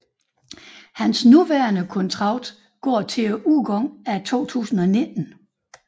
Hans nuværende kontrakt går til udgangen af 2019